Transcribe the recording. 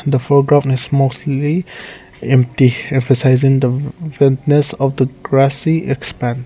the foreground is mostly empty emphasising the witness of the grassy expense.